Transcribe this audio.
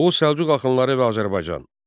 Oğuz Səlcuq axınları və Azərbaycan.